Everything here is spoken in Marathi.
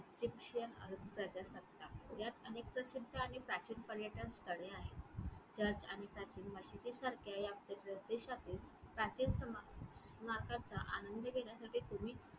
Egyptian अरब प्रजासत्ता. ह्यात अनेक प्रसिद्ध आणि प्राचीन पर्यटन स्थळे आहेत. ह्यात आणि प्राचीन मशिदीसारखे आपले प्रतिष्ठापित प्राचीन स्मा~स्मारकाचा आनंद घेण्यासाठी तुम्ही